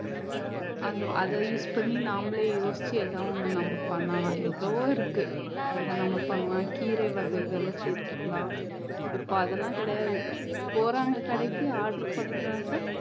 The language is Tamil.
அந்த அதை use பண்ணி நம்மளே யோசிச்சு ஏதோ ஒண்ணு நம்ம பண்ணலாம் எவ்வளவோ இருக்கு அதை நம்ம பண்ணலாம் கீரை வகைகளை சேர்த்துக்கலாம் இப்போ அதெல்லாம் கிடையாது போறாங்க கடைக்கு order பண்றாங்க